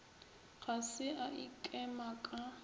ga se a ikema ka